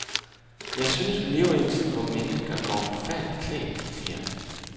Jeg synes, vi lever i en tid, hvor mennesker går forfærdeligt klædt, siger han.